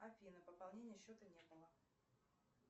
афина пополнения счета не было